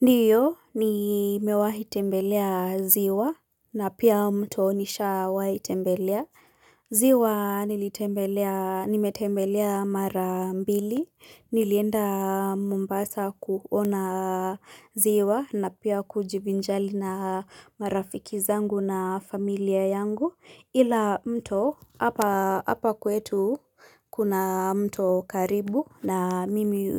Ndiyo nimewahi tembelea ziwa na pia mto nishawahiitembelea. Ziwa nilitembelea, nimetembelea mara mbili. Nilienda mombasa kuona ziwa na pia kujivinjari na marafiki zangu na familia yangu. Ila mto hapa kwetu kuna mto karibu na mimi